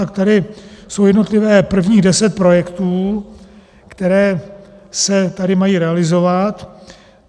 Tak tady je jednotlivě prvních deset projektů, které se tady mají realizovat.